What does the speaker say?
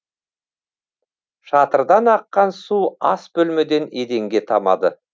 шатырдан аққан су ас бөлмеден еденге тамады